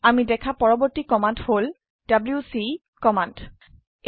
আমি দেখা পৰবৰ্তী কমান্ড হল ডব্লিউচি কমান্ড